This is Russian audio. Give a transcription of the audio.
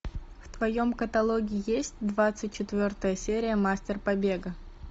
в твоем каталоге есть двадцать четвертая серия мастер побега